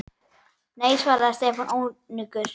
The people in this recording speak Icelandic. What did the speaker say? Nei svaraði Stefán önugur.